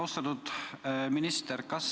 Austatud minister!